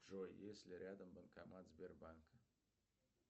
джой есть ли рядом банкомат сбербанка